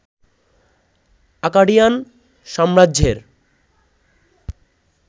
Acadian সাম্রাজ্যের